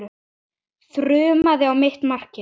Þrumaði á mitt markið.